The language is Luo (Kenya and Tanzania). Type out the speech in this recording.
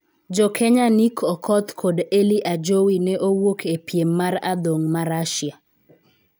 Jokenya Nick Okoth kod Elyy Ajowi ne owuok e piem mar adhong ma Rasia